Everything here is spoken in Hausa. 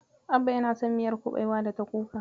Abba yana son miyar kuɓewa da ta kuka.